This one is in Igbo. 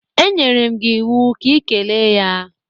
E nyere m gị iwu ka ị kelee ya!